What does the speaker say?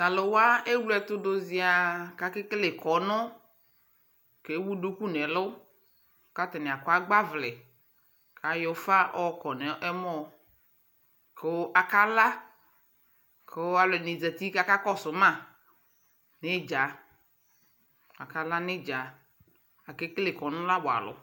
Tʋ alʋ wa ewle ɛtʋ dʋ zɩaa kʋ akekele kɔnʋ Ewu duku nʋ ɛlʋ kʋ atanɩ akɔ agbavlɛ kʋ ayɔ ʋfa ɔkɔ nʋ ɛmɔ kʋ akala kʋ alʋ ɛdɩnɩ zati kʋ akakɔsʋ ma nʋ ɩdza Akala nʋ ɩdza Akekele kɔnʋ la wa alʋ